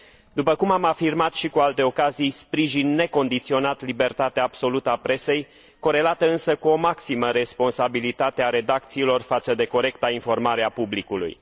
După cum am afirmat și cu alte ocazii, sprijin necondiționat libertatea absolută a presei, corelată însă cu o maximă responsabilitatea a redacțiilor față de corecta informare a publicului.